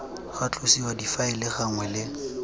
ga tlosiwa difaele gangwe le